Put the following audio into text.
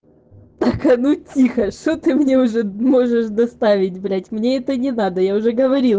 ну тихо что ты мне уже можешь доставить блять мне это не надо я уже говорила